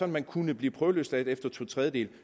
man kunne blive prøveløsladt efter to tredjedele